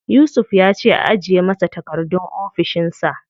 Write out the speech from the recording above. Yusuf ya ce a ajiye masa takardun a ofishin sa.